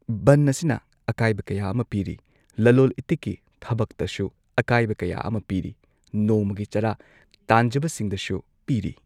ꯕꯟ ꯑꯁꯤꯅ ꯑꯀꯥꯢꯕ ꯀꯌꯥ ꯑꯃ ꯄꯤꯔꯤ ꯂꯂꯣꯜ ꯏꯇꯤꯛꯀꯤ ꯊꯕꯛꯇꯁꯨ ꯑꯀꯥꯏꯕ ꯀꯌꯥ ꯑꯃ ꯄꯤꯔꯤ ꯅꯣꯡꯃꯒꯤ ꯆꯔꯥ ꯇꯥꯟꯖꯕꯁꯤꯡꯗꯁꯨ ꯄꯤꯔꯤ꯫